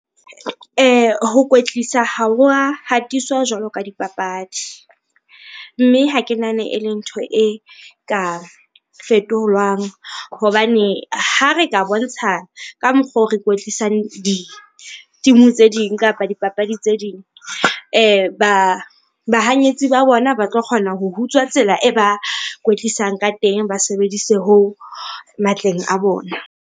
Ho kwetlisa ha o wa hatiswa jwalo ka dipapadi. Mme ha ke nahane ele ntho e ka fetolwang hobane ha re ka bontsha ka mokgo re ikwetlisang di-team-e tse ding kapa dipapadi tse ding. Bahanyetsi ba bona ba tlo kgona ho hutswa tsela e ba kwetlisang ka teng, ba sebedise hoo matleng a bona.